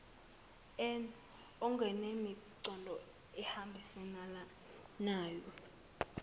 n okunemiqondo ehambisanayo